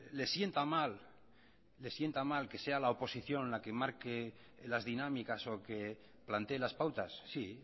les sienta mal que la oposición plantee las pautas